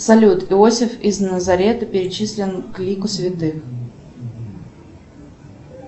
салют иосиф из назарета причислен к лику святых